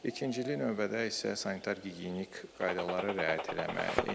İkincili növbədə isə sanitar gigiyenik qaydalara riayət eləmək.